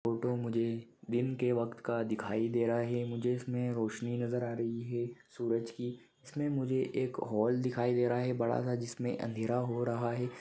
Photo मुजे दिन के वक्त का दिखाई दे रहा है। मुझे इसमे रोशनी नजर आ रही है सूरज की इसमे मुझे हॉल दिखाई दे रहा हैं बड़ासा जिसमे अंधेर हो रहा है।